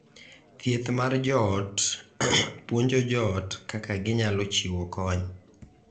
Thieth mar joot puonjo joot kaka ginyalo chiwo kony